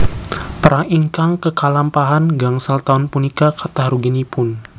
Perang ingkang kekalampahan gangsal taun punika kathah ruginipun